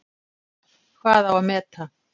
Hvað á að meta?